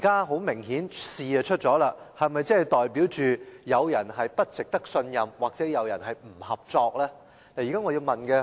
很明顯，今次事件已經發生，這是否代表有人不值得信任，或有人不合作呢？